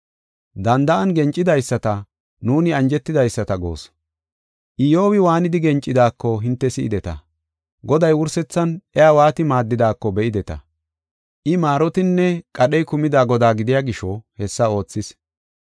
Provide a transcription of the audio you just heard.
Danda7an gencidaysata nuuni anjetidaysata goos. Iyyobi waanidi gencidaako hinte si7ideta. Goday wursethan iya waati maaddidaako be7ideta. I maarotinne qadhey kumida Godaa gidiya gisho hessa oothis.